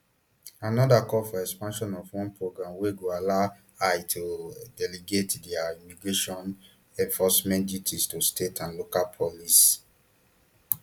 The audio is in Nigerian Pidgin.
anoda call for expansion of one programme wey go allow ice to delegate dia immigration enforcement duties to state and local police